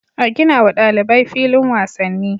A ginawa ɗalibai filin wasanni